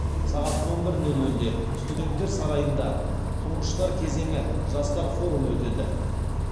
сағат он бір нөл нөлде студенттер сарайында тұңғыштар кезеңі жастар форумы өтеді